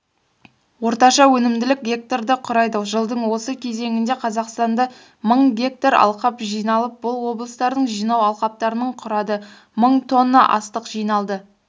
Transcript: орташа өнімділік га-ны құрайды жылдың осы кезеңінде қазақстанда мың гектар алқап жиналып бұл облыстардың жинау алқаптарының құрады мың тонна астық жиналды